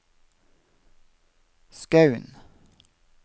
Skaun